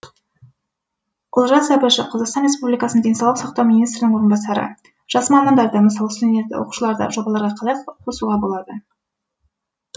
олжас әбішев қазақстан республикасы денсаулық сақтау министрінің орынбасары жас мамандарды мысалы студент оқушыларды жобаларға қалай қосуға болады